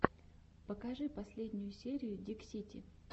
покажи последнюю серию диксити